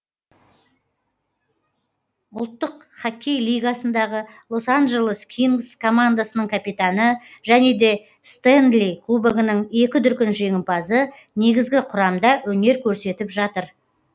ұлттық хоккей лигасындағы лос анджелес кингз командасының капитаны және де стэнли кубогының екі дүркін жеңімпазы негізгі құрамда өнер көрсетіп жатыр